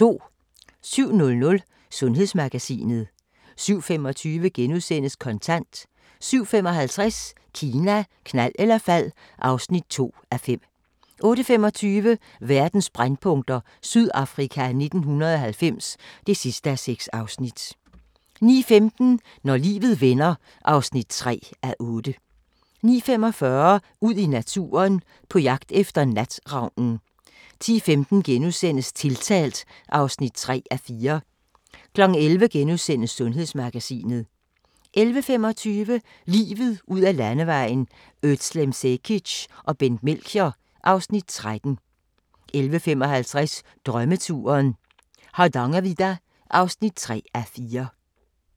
07:00: Sundhedsmagasinet 07:25: Kontant * 07:55: Kina, knald eller fald (2:5) 08:25: Verdens brændpunkter: Sydafrika 1990 (6:6) 09:15: Når livet vender (3:8) 09:45: Ud i naturen: På jagt efter natravnen 10:15: Tiltalt (3:4)* 11:00: Sundhedsmagasinet * 11:25: Livet ud ad Landevejen: Özlem Cekic og Bent Melchior (Afs. 13) 11:55: Drømmeturen - Hardangervidda (3:4)